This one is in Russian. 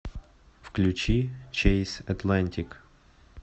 включи чейз атлантик